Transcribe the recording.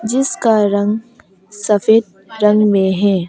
जिसका रंग सफेद रंग में है।